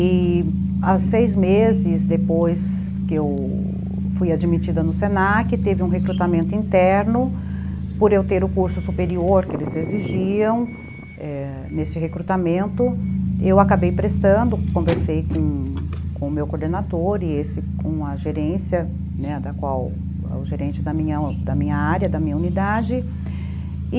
E, seis meses depois que eu fui admitida no senaque, teve um recrutamento interno, por eu ter o curso superior que eles exigiam, nesse recrutamento, eu acabei prestando, conversei com com o meu coordenador e esse com a gerência, o gerente da minha área, da minha unidade, e